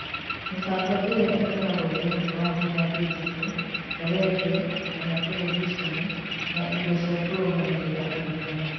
Mĩbango ĩrĩa ĩkoragwo thĩinĩ wa thĩ ya digito (ta, redio kana terebiceni, na indo cia kũrũgamĩrĩra ũrutani).